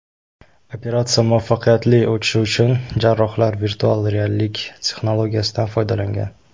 Operatsiya muvaffaqiyatli o‘tishi uchun jarrohlar virtual reallik texnologiyasidan foydalangan.